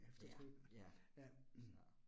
Ja, ja så